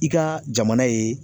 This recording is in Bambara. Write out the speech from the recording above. I ka jamana ye